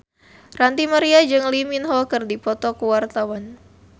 Ranty Maria jeung Lee Min Ho keur dipoto ku wartawan